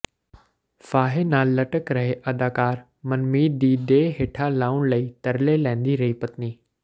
ਫਾਹੇ ਨਾਲ ਲਟਕ ਰਹੇ ਅਦਾਕਾਰ ਮਨਮੀਤ ਦੀ ਦੇਹ ਹੇਠਾਂ ਲਾਹੁਣ ਲਈ ਤਰਲੇ ਲੈਂਦੀ ਰਹੀ ਪਤਨੀ